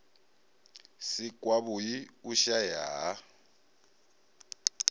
si kwavhui u shaea ha